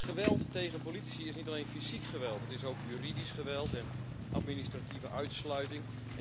Geweld tegen politici is niet alleen fysiek geweld, maar ook juridisch geweld en administratieve uitsluiting.